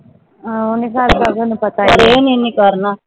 ਹਮ ਉਹ ਨਹੀਂ ਕਰਦਾ ਮੈਨੂੰ ਪਤਾ ਗਾ ਪਰ ਇਹਨੇ ਨਹੀਂ ਕਰਨਾ